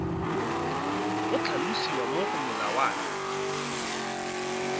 go tlhalosiwa mo go molawana